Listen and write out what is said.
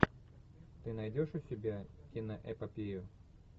ты найдешь у себя киноэпопею